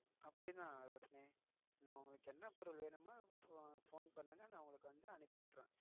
அப்படித்தான் ரோஷினி உங்களுக்கு என்ன பொருள் வேணும்னு போன் பண்ணுங்க நான் உங்களுக்கு வந்து அனுப்பி விட்டுருவேன்.